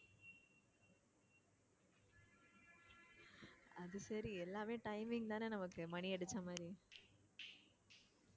அது சரி எல்லாமே timing தானே நமக்கு மணி அடிச்ச மாதிரி